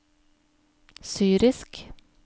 syrisk